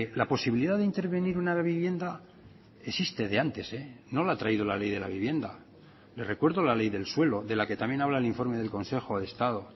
la posibilidad de intervenir una vivienda existe de antes no la ha traído la ley de la vivienda le recuerdo la ley del suelo de la que también habla el informe del consejo de estado